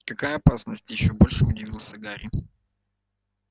какая опасность ещё больше удивился гарри